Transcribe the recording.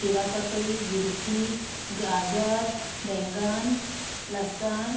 खीर ककड़ी गिलखी गाजर बैंगन लहसन --